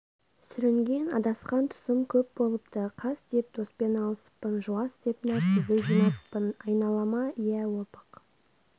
сүрінген адасқан тұсым көп болыпты қас деп доспен алысыппын жуас деп нәрсізді жинаппын айналама иә опық